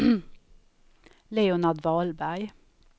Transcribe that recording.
Leonard Wahlberg